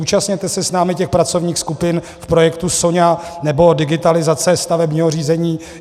Účastněte se s námi těch pracovních skupin v projektu SONIA nebo digitalizace stavebního řízení.